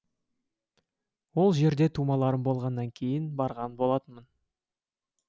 ол жерде тумаларым болғаннан кейін барған болатынмын